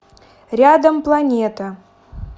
рядом планета